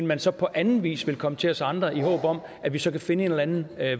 man så på anden vis vil komme til os andre i håb om at vi så kan finde en eller anden